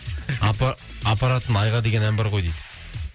апаратын айға деген ән бар ғой дейді